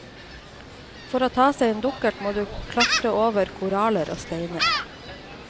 For å ta seg en dukkert må du klatre over koraller og steiner.